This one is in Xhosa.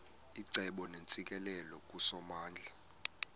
icebo neentsikelelo kusomandla